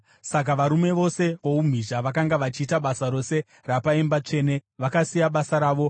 Saka varume vose voumhizha vakanga vachiita basa rose rapaimba tsvene vakasiya basa ravo